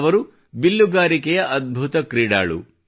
ಅವರು ಬಿಲ್ಲುಗಾರಿಕೆಯ ಅದ್ಭುತ ಕ್ರೀಡಾಳು